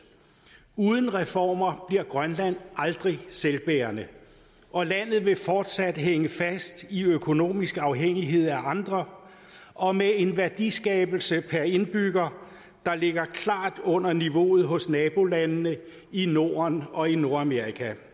uden reformer bliver grønland aldrig selvbærende og landet vil fortsat hænge fast i økonomisk afhængighed af andre og med en værdiskabelse der per indbygger klart ligger under niveauet hos nabolandene i norden og i nordamerika